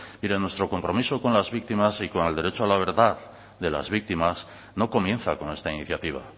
mire nuestro compromiso con las víctimas y con el derecho a la verdad de las víctimas no comienza con esta iniciativa